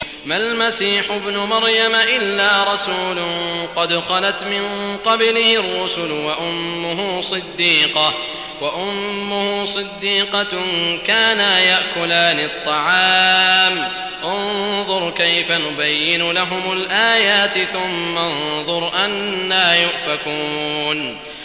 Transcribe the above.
مَّا الْمَسِيحُ ابْنُ مَرْيَمَ إِلَّا رَسُولٌ قَدْ خَلَتْ مِن قَبْلِهِ الرُّسُلُ وَأُمُّهُ صِدِّيقَةٌ ۖ كَانَا يَأْكُلَانِ الطَّعَامَ ۗ انظُرْ كَيْفَ نُبَيِّنُ لَهُمُ الْآيَاتِ ثُمَّ انظُرْ أَنَّىٰ يُؤْفَكُونَ